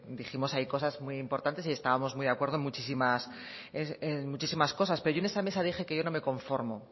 dijimos ahí cosas muy importantes y estábamos muy de acuerdo en muchísimas cosas pero yo en esa mesa dije que yo no me conformo